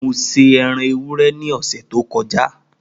Mo se eran ewúrẹ́ ni ọ̀sẹ̀ tó kọjá